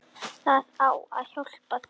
Það á að hjálpa þeim.